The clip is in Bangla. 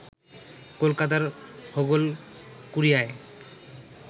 কলকাতার হোগলকুড়িয়ায়